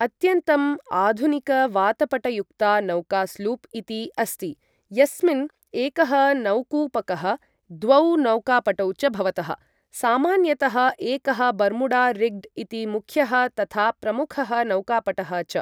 अत्यन्तम् आधुनिकवातपटयुक्ता नौका स्लूप् इति अस्ति, यस्मिन् एकः नौकूपकः द्वौ नौकापटौ च भवतः, सामान्यतः एकः बर्मुडा रिग्ड् इति मुख्यः तथा प्रमुखः नौकापटः च।